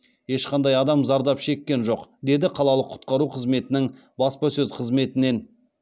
ешқандай адам зардап шеккен жоқ деді қалалық құтқару қызметінің баспасөз қызметінен